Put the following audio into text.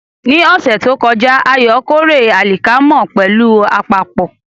Ní ọ̀sẹ̀ tó kọjá, Ayo kórè alikama pẹ̀lú àpapọ̀.